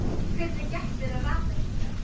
Hvernig gekk þér að rata hingað?